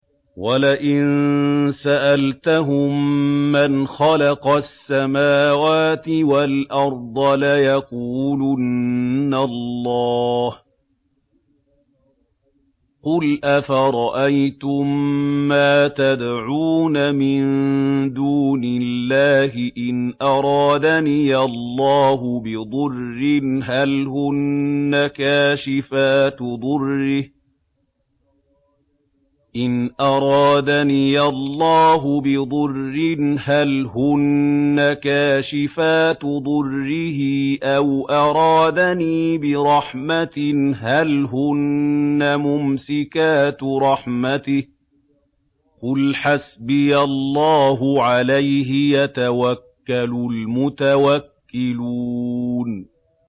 وَلَئِن سَأَلْتَهُم مَّنْ خَلَقَ السَّمَاوَاتِ وَالْأَرْضَ لَيَقُولُنَّ اللَّهُ ۚ قُلْ أَفَرَأَيْتُم مَّا تَدْعُونَ مِن دُونِ اللَّهِ إِنْ أَرَادَنِيَ اللَّهُ بِضُرٍّ هَلْ هُنَّ كَاشِفَاتُ ضُرِّهِ أَوْ أَرَادَنِي بِرَحْمَةٍ هَلْ هُنَّ مُمْسِكَاتُ رَحْمَتِهِ ۚ قُلْ حَسْبِيَ اللَّهُ ۖ عَلَيْهِ يَتَوَكَّلُ الْمُتَوَكِّلُونَ